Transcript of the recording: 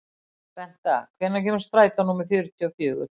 Benta, hvenær kemur strætó númer fjörutíu og fjögur?